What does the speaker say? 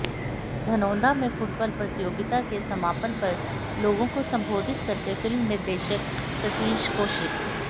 धनौन्दा में फुटबाल प्रतियोगिता के समापन पर लोगों को संबोधित करते फिल्म निर्देशक सतीश कौशिक